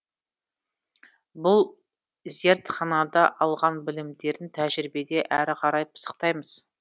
бұл зертханада алған білімдерін тәжірибеде әрі қарай пысықтаймыз